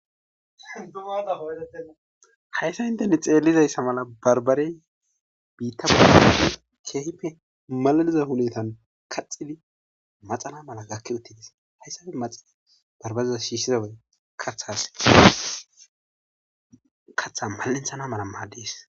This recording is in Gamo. hayssa inteni xeellizayssa mala barbarey biitta peekeehipe malaliza hunetan kaxidi maxana mala gakki uttides hayssafe maxa barbariza shiishizawe katha mal7inthana mala maaddees